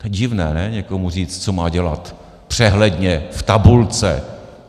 To je divné, ne, někomu říct, co má dělat, přehledně, v tabulce.